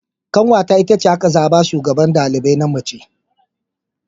Ƙanwata itace aka zaɓa a shugaban ɗalibai na mace.